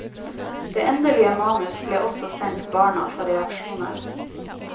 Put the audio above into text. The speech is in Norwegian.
Det endelige manus ble også sendt barna for reaksjoner.